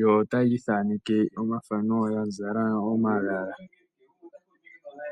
Yo taya ithaneke omathano ya zala omagala.